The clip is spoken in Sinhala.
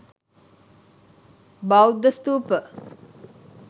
බෞද්ධ ස්ථූප